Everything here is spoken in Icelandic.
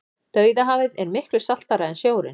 dauðahafið er miklu saltara en sjórinn